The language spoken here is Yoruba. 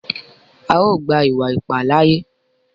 À o gba iwa-ipa láaye!